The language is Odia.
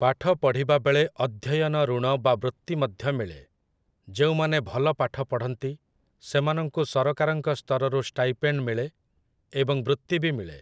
ପାଠ ପଢ଼ିବା ବେଳେ ଅଧ୍ୟୟନ ଋଣ ବା ବୃତ୍ତି ମଧ୍ୟ ମିଳେ । ଯେଉଁମାନେ ଭଲ ପାଠ ପଢ଼ନ୍ତି, ସେମାନଙ୍କୁ ସରକାରଙ୍କ ସ୍ତରରୁ ଷ୍ଟାଇପେଣ୍ଡ୍ ମିଳେ ଏବଂ ବୃତ୍ତି ବି ମିଳେ ।